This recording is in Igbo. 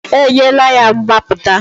Enyela ya mgbapụta!